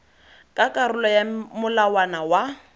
ka karolo ya molawana wa